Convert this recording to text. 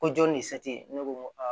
Ko jɔn ni ne ko n ko aa